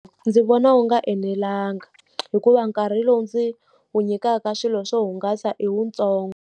Ndzi vona wu nga enelangi. Hikuva nkarhi lowu ndzi wu nyikaka swilo swo hungasa i wutsongo.